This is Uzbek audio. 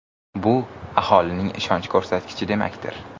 Bu aholining ishonch ko‘rsatkichi demakdir.